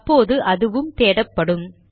அப்போது அதுவும் தேடப்படும்